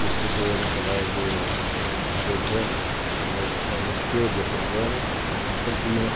Estudou no colégio sa Salesiano, no liceu Diocesano, em Campinas.